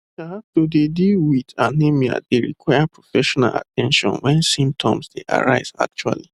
to have to dey deal wit anemia dey require professional at ten tion wen symptoms dey arise actually